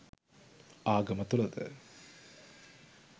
ආගම තුල ද